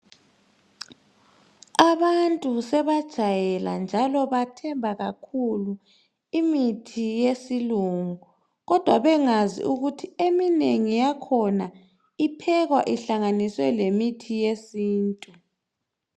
Abantu sebajayela njalo bathemba kakhulu imithi yesilungu, kodwa bengazi ukuthi eminengi yakhona iphekwa ihlanganiswe lemithi yesintu.